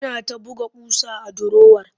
Yana ta buga ƙusa a durowar